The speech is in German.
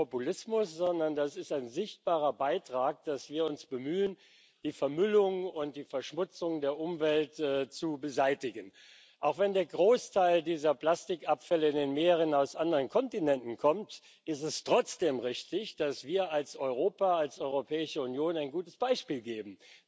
Das ist kein Populismus, sondern das ist ein sichtbarer Beitrag, dass wir uns bemühen, die Vermüllung und die Verschmutzung der Umwelt zu beseitigen. Auch wenn der Großteil dieser Plastikabfälle in den Meeren aus anderen Kontinenten kommt, ist es trotzdem richtig, dass wir als Europa, als Europäische Union, ein gutes Beispiel geben.